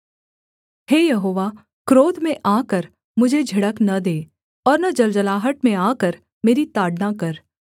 हे यहोवा क्रोध में आकर मुझे झिड़क न दे और न जलजलाहट में आकर मेरी ताड़ना कर